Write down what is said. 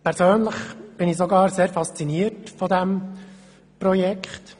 Persönlich bin ich sogar sehr fasziniert von diesem Projekt.